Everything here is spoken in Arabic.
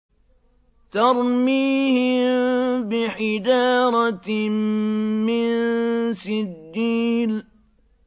تَرْمِيهِم بِحِجَارَةٍ مِّن سِجِّيلٍ